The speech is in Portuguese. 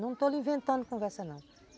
Não estou lhe inventando conversa, não.